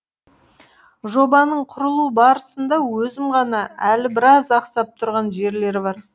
жобаның құрылу барысында өзім ғана әлі біраз ақсап тұрған жерлері бар